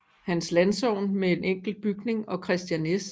Hans Landsogn med en enkelt bygning og Kristian S